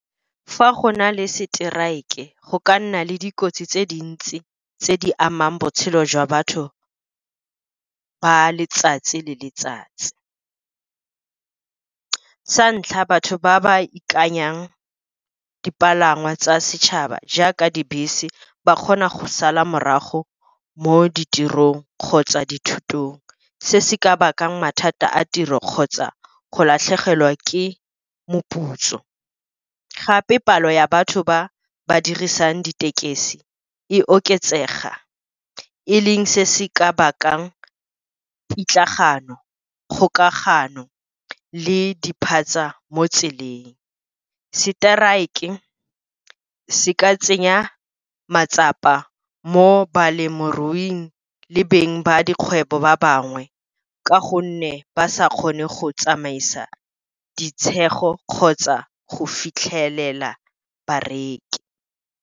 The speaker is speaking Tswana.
Fa go na le strike go ka nna le dikotsi tse dintsi tse di amang botshelo jwa batho ba letsatsi le letsatsi. Sa ntlha batho ba ba ikanyang dipalangwa tsa setšhaba jaaka dibese, ba kgona go sala morago mo ditirong kgotsa dithutong. Se se ka bakang mathata a tiro kgotsa go latlhegelwa ke moputso, gape palo ya batho ba ba dirisang ditekesi e oketsega e leng se se ka bakang pitlagano, kgokagano le diphatsa mo tseleng. Strike se ka tsenya matsapa mo balemiruing le beng ba dikgwebo ba bangwe, ka gonne ba sa kgone go tsamaisa ditshego kgotsa go fitlhelela bareki.